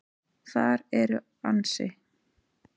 Þar eru ansi